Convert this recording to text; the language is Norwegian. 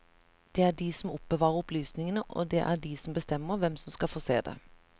Det er de som oppbevarer opplysningene, og det er de som bestemmer hvem som skal få se det.